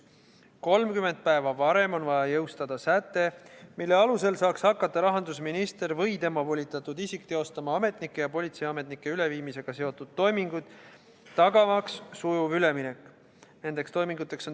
30 päeva varem on vaja jõustada säte, mille alusel saaks hakata rahandusminister või tema volitatud isik teostama ametnike ja politseiametnike üleviimisega seotud toiminguid, et tagada sujuv üleminek.